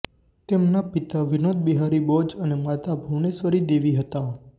તેમના પિતા વિનોદ બિહારી બોઝ અને માતા ભૂવનેશ્વરી દેવી હતા